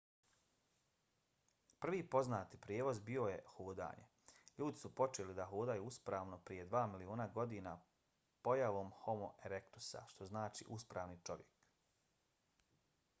prvi poznati prijevoz bilo je hodanje ljudi su počeli da hodaju uspravno prije dva miliona godina pojavom homo erektusa što znači uspravni čovjek